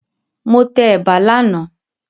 Mo tẹ ẹ̀bà lánàá